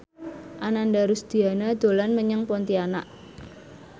Ananda Rusdiana dolan menyang Pontianak